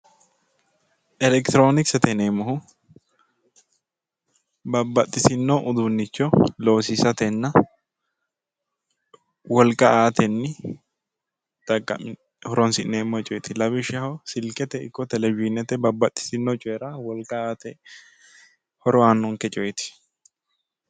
Elekitironkisete yineemmohu babbaxitino uduunicho loosiisatenna wolqa aatenni horonsi'neemmo coyiti lawishshaho silkete ikko Televishinete babbaxitino coyira wolqa aate horo aanonke coyiti